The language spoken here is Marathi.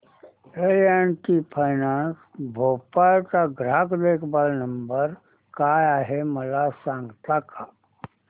L and T finance Bhopal चा ग्राहक देखभाल नंबर काय आहे मला सांगता का